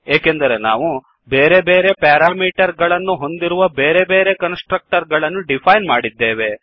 ಏಕೆಂದರೆ ನಾವು ಬೇರೆ ಬೇರೆ ಪ್ಯಾರಾಮೀಟರ್ ಗಳನ್ನು ಹೊಂದಿರುವ ಬೇರೆ ಬೇರೆ ಕನ್ಸ್ ಟ್ರಕ್ಟರ್ ಗಳನ್ನು ಡಿಫೈನ್ ಮಾಡಿದ್ದೇವೆ